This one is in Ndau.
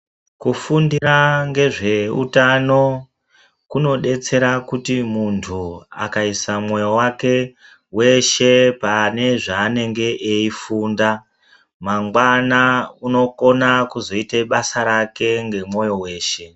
Kufundira ngezvehutano, kunodetsera kuti muntu akayisa moyo wake weshe panezvanenge ayifunda, mangwana unokone kuzoita basa rake ngemoyo wese.